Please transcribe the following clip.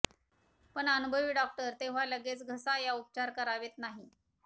पण अनुभवी डॉक्टर तेव्हा लगेच घसा या उपचार करावेत नाही